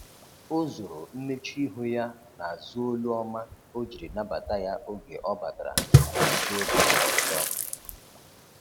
o zoro mmechuihu ya na azu olu ọma ojiri nabata ya oge ọ batara na azụ oge ọzọ